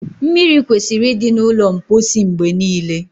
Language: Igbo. mmiri kwesịrị ịdị na ulo mposi mgbe niile